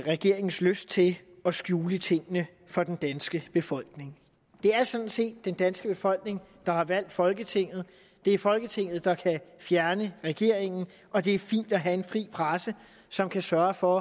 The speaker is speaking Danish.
regeringens lyst til at skjule tingene for den danske befolkning det er sådan set den danske befolkning der har valgt folketinget det er folketinget der kan fjerne regeringen og det er fint at have en fri presse som kan sørge for